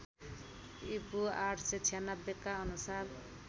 ईपू ८९६ का अनुसार